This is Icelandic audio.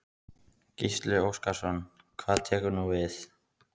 Gísli Óskarsson: Hvað tekur nú við?